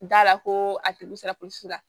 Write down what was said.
Da la ko a tigi sera ko su la